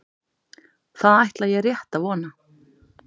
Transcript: Það ætla ég rétt að vona